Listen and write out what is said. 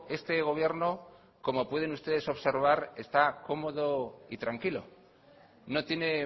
este gobierno como pueden ustedes observar está cómodo y tranquilo no tiene